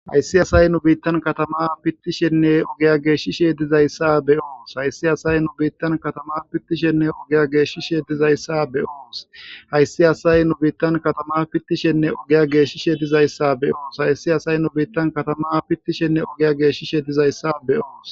hayssi asay nu biittan katama pittishenne ogiya geeshishe dizayssa be onus hayssi asay nu biittan katama pittishenne ogiya geeshishe dizayssa be oos hayssi asay nu biittan katama pittishenne ogiya geeshishe dizayssa be onous hayssi asay nu biittan katama pittishenne ogiya geeshishe dizayssa be oos